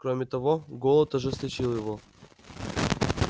кроме того голод ожесточил его